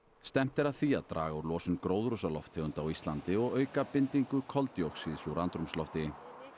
stefnt er að því að draga úr losun gróðurhúsalofttegunda á Íslandi og auka bindingu koldíoxíðs úr andrúmslofti